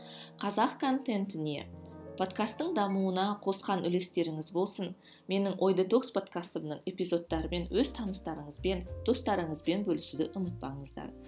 қазақ контентіне подкастың дамуына қосқан үлестеріңіз болсын менің ой детокс подкастымның эпизодтарымен өз таныстарыңызбен достарыңызбен бөлісуді ұмытпаңыздар